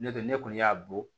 N'o tɛ ne kɔni y'a bɔ